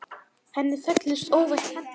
Henni féllust óvænt hendur.